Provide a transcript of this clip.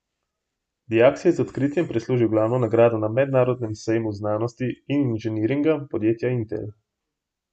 Dijak si je z odkritjem prislužil glavno nagrado na mednarodnem sejmu znanosti in inženiringa podjetja Intel.